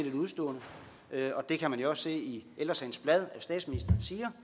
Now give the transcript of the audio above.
et udestående det kan man jo også se i ældre sagens blad at statsministeren siger